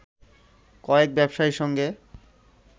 কয়েক ব্যবসায়ীর সঙ্গে